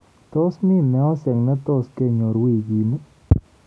Tos mi meosyek ne tos kenyor wikini?